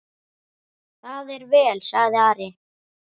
Það er vel, sagði Ari.